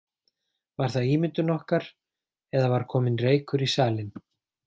Var það ímyndun okkar eða var kominn reykur í salinn.